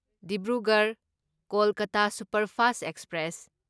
Dibrugarh Kolkata superfast express